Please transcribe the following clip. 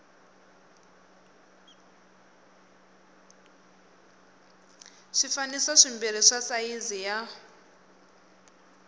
swifaniso swimbirhi swa sayizi ya